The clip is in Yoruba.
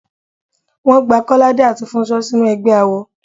Wọ́n gba Kọ́ládé àti Fúnṣọ́ sínú ẹgbẹ́ awo.